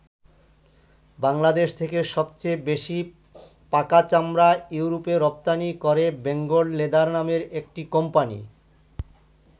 বাংলাদেশ থেকে সবচেয়ে বেশি পাকা চামড়া ইউরোপে রপ্তানি করে বেঙ্গল লেদার নামের একটি কোম্পানি।